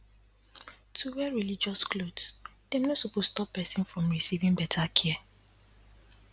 to wear religious cloths dem no suppose stop person from receiving better care